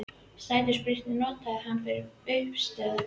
Stærstu spýturnar notar hann fyrir uppistöður.